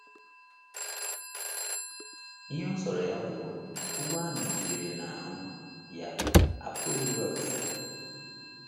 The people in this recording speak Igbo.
Ihe ọ sọrọ ya bụrụ, ogwu ahụ dịgidere n’ahụ́ ya, a pụghịkwa iwepụ ya.